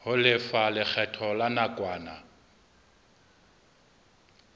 ho lefa lekgetho la nakwana